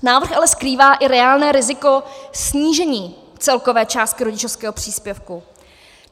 Návrh ale skrývá i reálné riziko snížení celkové částky rodičovského příspěvku.